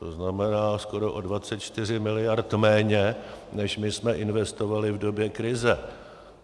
To znamená, skoro o 24 mld. méně, než my jsme investovali v době krize.